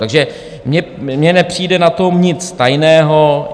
Takže mně nepřijde na tom nic tajného.